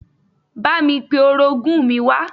Bámi pe orogún mi wá